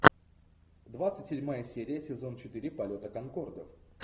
двадцать седьмая серия сезон четыре полета конкордов